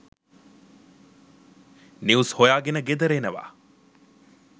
News හොයා ගෙන ගෙදර එනවා.